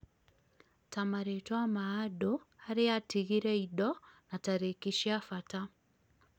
ta marĩtwa ma andũ, harĩa atigire indo, na tarĩki cia bata